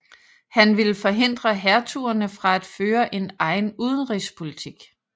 Han ville forhindre hertugerne fra at føre en egen udenrigspolitik